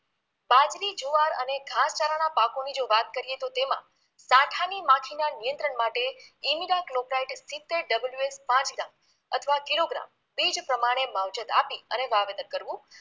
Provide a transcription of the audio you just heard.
બાજરી જુવાર અને ઘાસચારાના પાકોની જો વાત કરીએ તો તેમાંં દાંઠાની માઠીના નિયંત્રણ માટે એનિડા ક્લોપ્રાઈટ સિત્તેર WS પાથીદા અથવા કિલોગ્રામ બીજ પ્રમાણે માવજત આપી અને વાવેતર કરવું